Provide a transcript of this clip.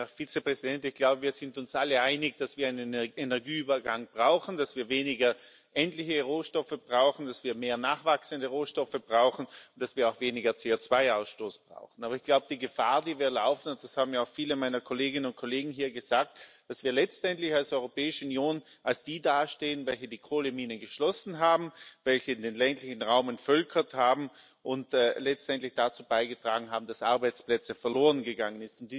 Herr Vizepräsident, ich glaube, wir sind uns alle einig, dass wir einen Energieübergang brauchen, dass wir weniger endliche Rohstoffe brauchen, dass wir mehr nachwachsende Rohstoffe brauchen und dass wir auch weniger CO2 Ausstoß brauchen. Aber ich glaube, die Gefahr, die wir laufen und das haben mir auch viele meiner Kolleginnen und Kollegen hier gesagt ist, dass wir letztendlich als Europäische Union als die dastehen, welche die Kohleminen geschlossen haben, welche den ländlichen Raum entvölkert haben und letztendlich dazu beigetragen haben, dass Arbeitsplätze verloren gegangen